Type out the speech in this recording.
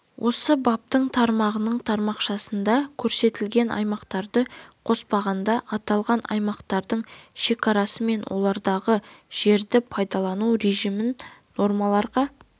осы баптың тармағының тармақшасында көрсетілген аймақтарды қоспағанда аталған аймақтардың шекарасы мен олардағы жерді пайдалану режимін нормаларға